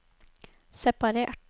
separert